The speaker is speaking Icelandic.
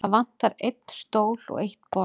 Það vantar einn stól og eitt borð.